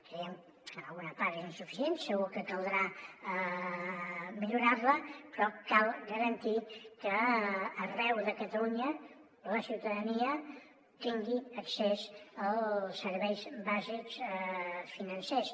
creiem que en alguna part és insuficient segur que caldrà millorar·la però cal garantir que arreu de catalunya la ciutadania tingui accés als serveis bàsics financers